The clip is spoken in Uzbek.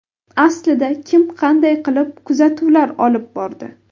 Aslida kim qanday qilib kuzatuvlar olib bordi?